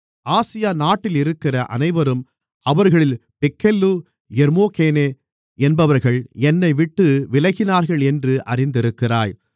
Asia நாட்டிலிருக்கிற அனைவரும் அவர்களில் பிகெல்லு எர்மொகெனே என்பவர்கள் என்னைவிட்டு விலகினார்களென்று அறிந்திருக்கிறாய்